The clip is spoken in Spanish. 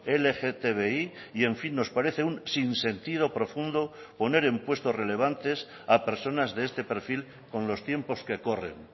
lgtbi y en fin nos parece un sin sentido profundo poner en puestos relevantes a personas de este perfil con los tiempos que corren